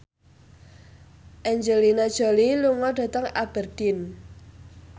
Angelina Jolie lunga dhateng Aberdeen